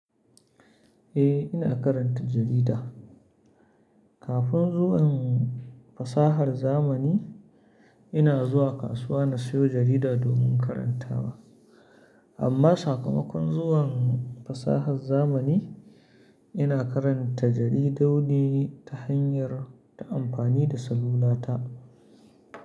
Eh, ina karanta jarida. Kafin zuwan fasahar zamani, ina zuwa kasuwa na siyo jarida domin karantawa. Amma sakamakon zuwan fasahar zamani, ina karanta jaridu ne ta hanyar ta amfani da salula ta.